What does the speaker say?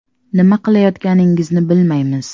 Nima qilayotganingizni bilmaymiz.